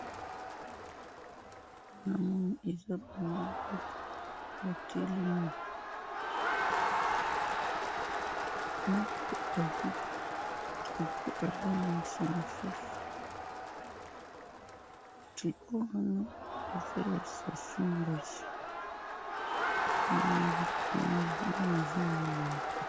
namoni eza mibali mibale batelemi moko azwi tricot azo lakisa mosusu tricot wana eza ya sassoun-nguesso nde nazomona awa.